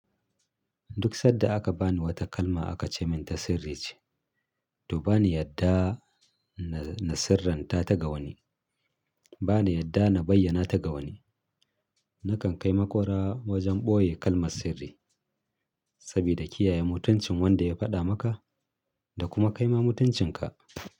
Duk sad da aka bani wata kalma aka ce min ta sirri ce, to bani yadda na sirranta ta ga wani. Bani yadda na bayyana ta ga wani. Nakan kai makwara wajen ɓoye kalmar sirri, sabida kiyaye mutuncin wanda ya faɗa maka da kuma kaima mutuncinka.